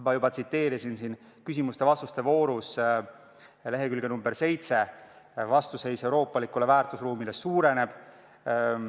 Ma juba tsiteerisin küsimuste-vastuste voorus lehekülge nr 7: "Vastuseis euroopalikule väärtusruumile suureneb.